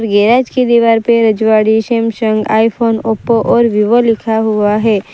Garage की दीवार पे रजवाड़ी सैमसंग आई फोन ओप्पो और वीवो लिखा हुआ है।